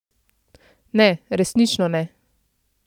Ne, resnično ne.